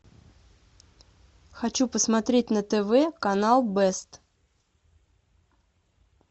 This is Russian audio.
хочу посмотреть на тв канал бест